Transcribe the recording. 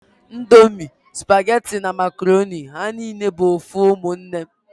Ndomi, supageti na makoroni ha nine bu ofu umunne